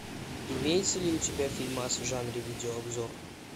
имеется ли у тебя фильмас в жанре видеообзор